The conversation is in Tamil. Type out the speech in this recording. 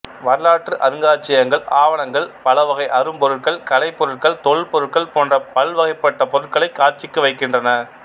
வரலாற்று அருங்காட்சியகங்கள் ஆவணங்கள் பலவகை அரும்பொருட்கள் கலைப்பொருட்கள் தொல்பொருட்கள் போன்ற பல்வகைப்பட்ட பொருட்களைக் காட்சிக்கு வைக்கின்றன